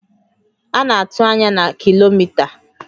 A na-atụ anya na kilomita